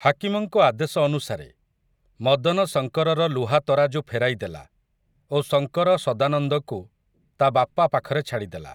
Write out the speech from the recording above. ହାକିମଙ୍କ ଆଦେଶ ଅନୁସାରେ, ମଦନ ଶଙ୍କରର ଲୁହା ତରାଜୁ ଫେରାଇଦେଲା, ଏବଂ ସଙ୍କର ସଦାନନ୍ଦକୁ ତା ବାପା ପାଖରେ ଛାଡ଼ିଦେଲା ।